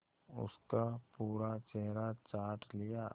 उसका पूरा चेहरा चाट लिया